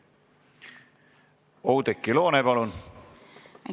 Oudekki Loone, palun!